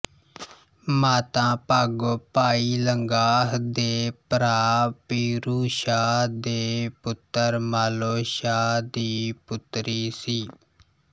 ਮਾਤਾ ਭਾਗੋ ਭਾਈ ਲੰਗਾਹ ਦੇ ਭਰਾ ਪੀਰੂ ਸ਼ਾਹ ਦੇ ਪੁੱਤਰ ਮਾਲੋ ਸ਼ਾਹ ਦੀ ਪੁੱਤਰੀ ਸੀ